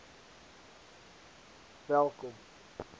welkom